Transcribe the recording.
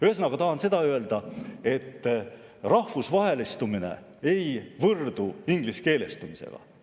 Ühesõnaga, ma tahan öelda, et rahvusvahelistumine ei võrdu ingliskeelestumisega.